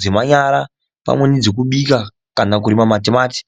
zvekubika kana kurima matimati.